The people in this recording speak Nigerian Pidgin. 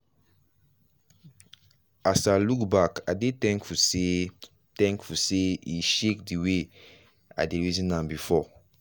as i look back i dey thankful say thankful say e shake d wayi dey reason am before.